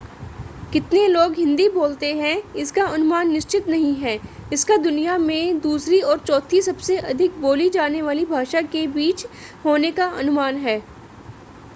कितने लोग हिंदी बोलते हैं इसका अनुमान निश्चित नहीं है इसका दुनिया में दूसरी और चौथी सबसे अधिक बोली जाने वाली भाषा के बीच होने का अनुमान है